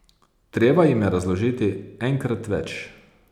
Treba jim je razložiti enkrat več.